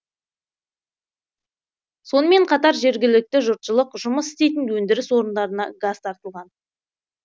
сонымен қатар жергілікті жұртшылық жұмыс істейтін өндіріс орындарына газ тартылған